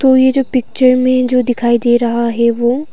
और ये जो पिक्चर में जो दिखाई दे रहा है वो--